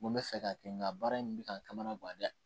N ko n bɛ fɛ k'a kɛ n ka baara in bɛ ka n kamanagan dɛ